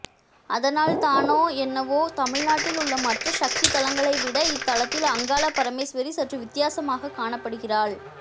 அதனால் தானோ என்னவோ தமிழ்நாட்டில் உள்ள மற்ற சக்தி தலங்களை விட இத்தலத்தில் அங்காள பரமேஸ்வரி சற்று வித்தியாசமாகக் காணப்படுகிறாள்